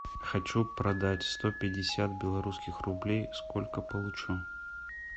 хочу продать сто пятьдесят белорусских рублей сколько получу